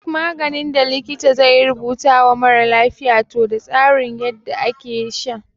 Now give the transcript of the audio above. Duk maganin da likita zai rubuta wa mara lafiya toh da tsarin yadda ake sha.